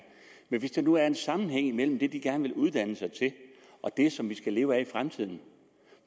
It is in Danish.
men hvis der nu er en sammenhæng imellem det de gerne vil uddanne sig til og det som vi skal leve af i fremtiden